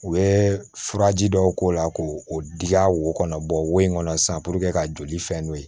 U bɛ furaji dɔw k'o la k'o o diya wo in kɔnɔ sisan ka joli fɛn n'o ye